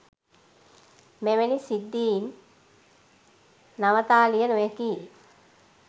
මෙවැනි සිද්ධීන් නවතාලිය නොහැකියි.